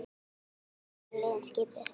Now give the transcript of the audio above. Svona eru liðin skipuð